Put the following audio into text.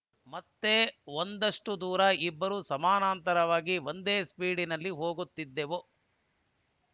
ಮತ್ತೆ ಒಂದಷ್ಟುದೂರ ಇಬ್ಬರು ಸಮಾನಾಂತರವಾಗಿ ಒಂದೇ ಸ್ಪೀಡಿನಲ್ಲಿ ಹೋಗುತ್ತಿದ್ದೆವು